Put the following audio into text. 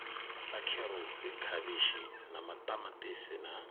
sa kherotsi khavhishi maṱamaṱisi na